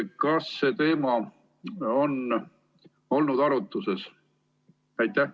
Kas see teema on olnud arutusel?